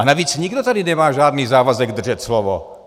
A navíc nikdo tady nemá žádný závazek držet slovo.